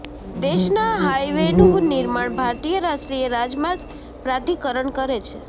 દેશના હાઈવેનું નિર્માણ ભારતીય રાષ્ટ્રીય રાજમાર્ગ પ્રાધિકરણ કરે છે